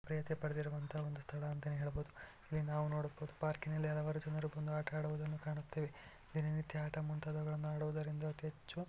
ಮಾನ್ಯತೆ ಪಡೆದಿರುವಂತ ಒಂದು ಸ್ಥಳ ಅಂತಾನೆ ಹೇಳ್ಬೋದು ಇಲ್ಲಿ ನಾವು ನೋಡ್ಬೋದು ಪಾರ್ಕಿನಲ್ಲಿ ಹಲವಾರು ಜನರು ಬಂದು ಆಟಡುವುದನ್ನು ಕಾಣುತ್ತೇವೆ ದಿನ ನಿತ್ಯ ಆಟ ಮುಂತಾದುವುಗಳನ್ನ ಆಡುವುದರಿಂದ ಅತೀ ಹೆಚ್ಚು--